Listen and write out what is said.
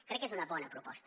crec que és una bona proposta